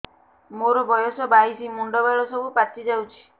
ମୋର ବୟସ ବାଇଶି ମୁଣ୍ଡ ବାଳ ସବୁ ପାଛି ଯାଉଛି